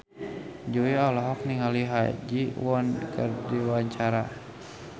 Jui olohok ningali Ha Ji Won keur diwawancara